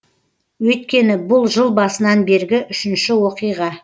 өйткені бұл жыл басынан бергі үшінші оқиға